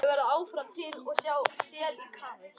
Þú verður áfram til.